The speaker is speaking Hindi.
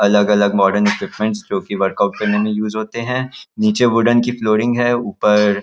अलग-अलग मॉडर्न इक्विपमेंट्स जो कि वर्कआउट करने में यूज़ होते हैं नीचे वूडन की फ्लोरिंग हैं ऊपर --